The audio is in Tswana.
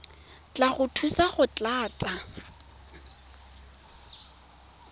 tla go thusa go tlatsa